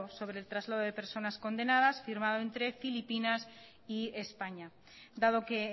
sobre el traslado de personas condenadas firmado entre filipinas y españa dado que